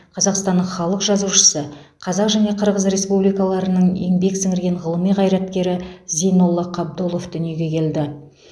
қазақстанның халық жазушысы қазақ және қырғыз республикаларының еңбек сіңірген ғылым қайраткері зейнолла қабдолов дүниеге келді